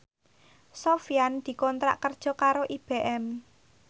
Sofyan dikontrak kerja karo IBM